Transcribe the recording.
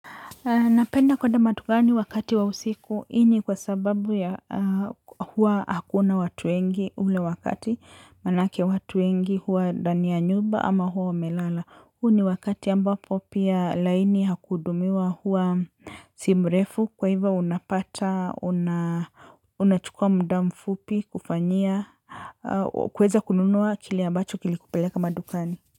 Napenda kwenda madukani wakati wa usiku, hii ni kwa sababu ya huwa hakuna watu wengi ule wakati, manake watu wengi huwa ndani ya nyumba ama huwa wamelala. Huu ni wakati ambapo pia laini ya kudumiwa huwa si mrefu kwa ivo unapata, unachukua mda mfupi kufanyia, kuweza kununua kile ambacho kilikupeleka madukani.